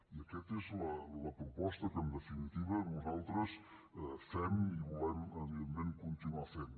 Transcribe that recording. i aquesta és la proposta que en definitiva nosaltres fem i volem evidentment continuar fent